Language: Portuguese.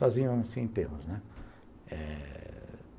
Sozinho